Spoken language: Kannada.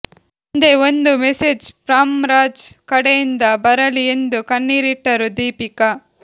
ಒಂದೇ ಒಂದು ಮೆಸೇಜ್ ಫ್ರಮ್ ರಾಜ್ ಕಡೆಯಿಂದ ಬರಲಿ ಎಂದು ಕಣ್ಣೀರಿಟ್ಟರು ದೀಪಿಕಾ